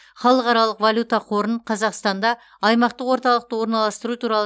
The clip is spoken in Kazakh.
халықаралық валюта қорын қазақстанда аймақтық орталықты орналастыру туралы